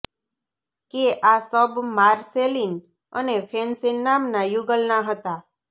કે આ શબ માર્સેલીન અને ફેન્સીન નામના યુગલના હતા